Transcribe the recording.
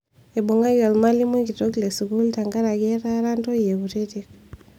Eibungaki olmalimui kitok le sukuul tenkaraki etaara ntoyie kutitik